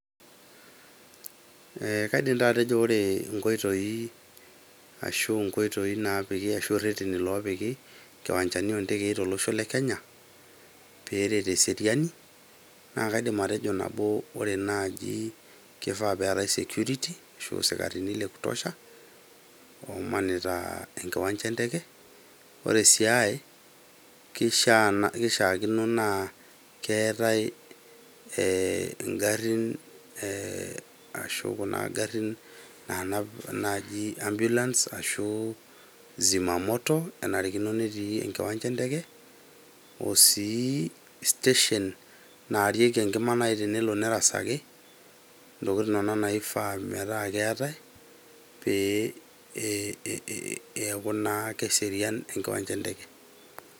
eeh, kaidim taa atejo ore inkoitoi ashu nkoitoi ashu irreteni lopiki inkiwanjani ontekei tolosho le kenya peret eseriani naa kaidim atejo nabo ore naaji kifaa peetae security ashu isikarini le kutosha omanita enkiwanja enteke ore sii ae kishia naa kishiakino naa keetae ee ingarrin ee ashu kuna garrin nanap naji ambulance ashu zima moto enarikino netii enkiwanja enteke osii station narieki enkima naaji tenelo nerasaki ntokitin inonok naifaa metaa keetae pee eeh eeku naa keserian enkiwanja enteke.